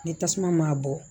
Ni tasuma m'a bɔ